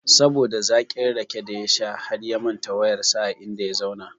Saboda zakin rake da ya sha harya manta wayar sa a inda ya zauna